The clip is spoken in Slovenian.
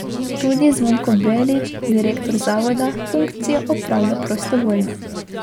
Tudi Zvonko Belič, direktor zavoda, funkcijo opravlja prostovoljno.